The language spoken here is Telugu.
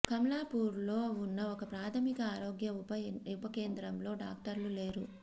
కమలాపూర్లో ఉన్న ఒక ప్రాథమిక ఆరోగ్య ఉప కేంద్రంలో డాక్టర్లు లేరు